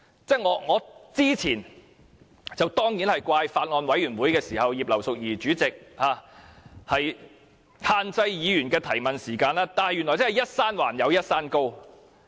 在早前的法案委員會，我當然責怪葉劉淑儀議員限制議員的提問時間，但原來"一山還有一山高"。